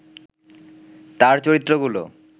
তার চরিত্রগুলো